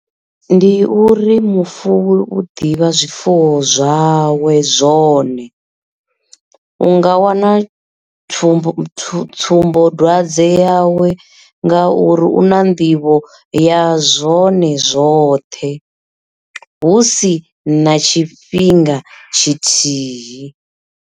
Ndi uri mufuwi u ḓivha zwifuwo zwawe zwone, u nga wana tsumbo tsumbodwadze yawe nga uri u na nḓivho ya zwone zwoṱhe, husi na tshifhinga tshithihi.